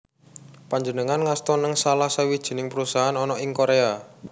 Panjenengané ngasta nèng salah sawijining perusahaan ana ing Korea